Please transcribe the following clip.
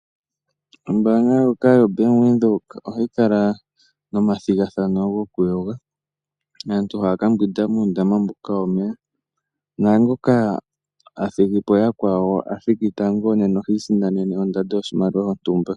Ombaanga ndjoka yoBank Windhoek ohayi kala nomathigathano gokuyoga, naantu ohaya ka mbwinda muundama mboka womeya. Naangoka a thigi po yakwawo a thiki tango, nena oha isindanene ondando yoshimaliwa shontumba.